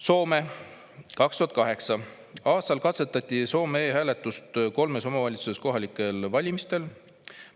Soome: 2008. aastal katsetati e-hääletust kolmes omavalitsuses kohalikel valimistel.